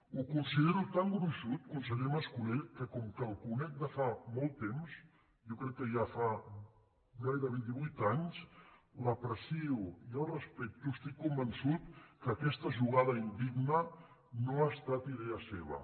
ho considero tan gruixut conseller mas·co·lell que com que el conec de fa molt temps jo crec que ja fa gairebé divuit anys l’aprecio i el respecto estic convençut que aquesta jugada indigna no ha estat idea seva